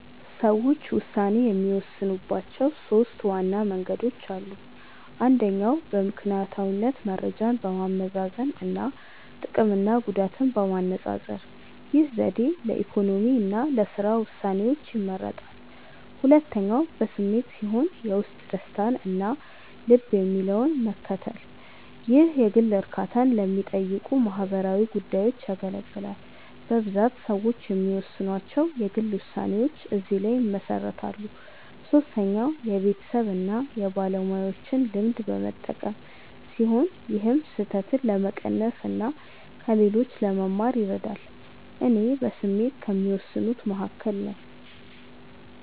ሰዎች ውሳኔ የሚወስኑባቸው ሦስት ዋና መንገዶች አሉ። አንደኛው በምክንያታዊነት መረጃን በማመዛዘን እና ጥቅምና ጉዳትን በማነፃፀር። ይህ ዘዴ ለኢኮኖሚ እና ለሥራ ውሳኔዎች ይመረጣል። ሁለተኛው በስሜት ሲሆን የውስጥ ደስታን እና ልብ የሚለውን በመከተል። ይህ የግል እርካታን ለሚጠይቁ ማህበራዊ ጉዳዮች ያገለግላል። በብዛት ሰዎች የሚወስኗቸው የግል ውሳኔዎች እዚህ ላይ ይመሰረታሉ። ሶስተኛው የቤተሰብን እና የባለሙያዎችን ልምድ በመጠቀም ሲሆን ይህም ስህተትን ለመቀነስ እና ከሌሎች ለመማር ይረዳል። እኔ በስሜት ከሚወስኑት መካከል ነኝ።